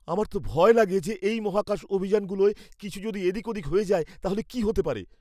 আমার তো ভয় লাগে যে এই মহাকাশ অভিযানগুলোয় কিছু যদি এদিক ওদিক হয়ে যায়ে তাহলে কী হতে পারে!